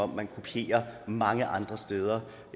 man kopierer mange andre steder